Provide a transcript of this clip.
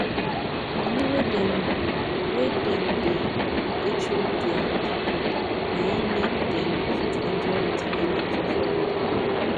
money wey dem wey dem da hecho dia people naim make dem fit enjoy retirement for florida